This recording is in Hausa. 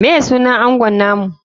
Me sunan angon namu?